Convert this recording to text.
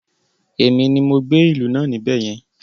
Èmi ni mo gbé ìlú náà níbẹ̀ yẹn